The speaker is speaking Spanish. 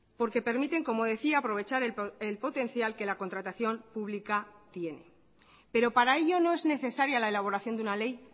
porque permiten como decía aprovechar el potencial que la contratación pública tiene pero para ello no es necesaria la elaboración de una ley